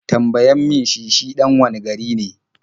Tambayan mi shi shi ɗan wane gari ne?